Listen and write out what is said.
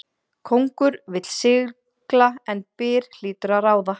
Kóngur vill sigla en byr hlýtur að ráða.